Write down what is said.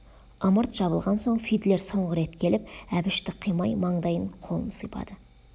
ымырт жабылған соң фидлер соңғы рет келіп әбішті қимай маңдайын қолын сипады